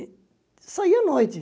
E saia à noite.